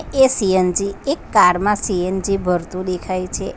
એ CNG એક car માં CNG ભરતુ દેખાઈ છે.